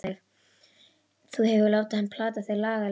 Þú hefur látið hann plata þig laglega!